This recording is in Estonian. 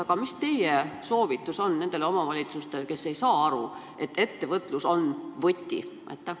Aga mis on teie soovitus nendele omavalitsustele, kes ei saa aru, et ettevõtlus on võti?